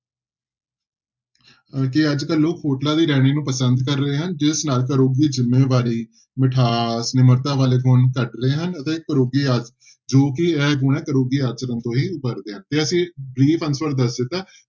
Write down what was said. ਕਿ ਅੱਜ ਕੱਲ੍ਹ ਲੋਕ ਹੋਟਲਾਂ ਦੀ ਰਹਿਣੀ ਨੂੰ ਪਸੰਦ ਕਰ ਰਹੇ ਹਨ ਜਿਸ ਨਾਲ ਘਰੋਗੀ ਜ਼ਿੰਮੇਵਾਰੀ, ਮਿਠਾਸ, ਨਿਮਰਤਾ ਵਾਲੇ ਗੁਣ ਘੱਟ ਰਹੇ ਹਨ ਅਤੇ ਘਰੋਗੀ ਜੋ ਕਿ ਇਹ ਘਰੋਗੀ ਆਚਰਨ ਤੋਂ ਹੀ ਉਭਰ ਗਿਆ ਤੇ ਅਸੀਂ answer ਦੱਸ ਦਿੱਤਾ ਹੈ,